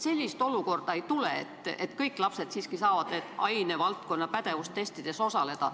Sellist olukorda nagu ei tule, et kõik lapsed siiski saavad ainevaldkonna pädevustestides osaleda.